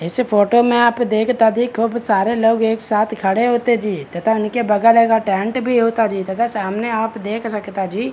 इस फोटो में आप देखता जी खूब सारे लोग एक साथ खड़े होते जी तथा उनके बगल में टेंट भी होता जी तथा आप सामने देख सकता जी।